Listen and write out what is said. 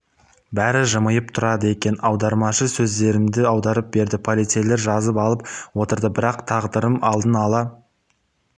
бәрі жымиып тұрады екен аудармашы сөздерімді аударып берді полицейлер жазып алып отырды бірақ тағдырым алдын ала